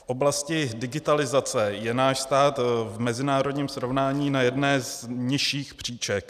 V oblasti digitalizace je náš stát v mezinárodním srovnání na jedné z nižších příček.